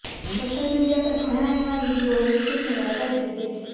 social media પર ઘણા એવા વીડિયો હોય છે જે વાયરલ થઇ જાય છે